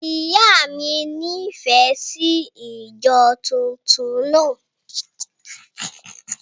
Ìyá mi nífẹ̀ẹ́ sí ìjọ tuntun náà.